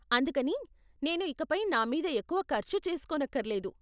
అందుకని, నేను ఇకపై నా మీద ఎక్కువ ఖర్చు చేసుకోనక్కర్లేదు.